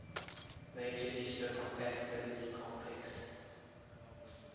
major histocompatibility complex